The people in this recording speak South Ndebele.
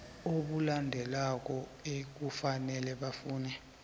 obulandelako ekufanele bafune